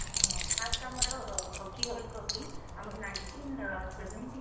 ହଁ first ଆମର hockey world cup ଟି ଆମର nineteen ଅ seventy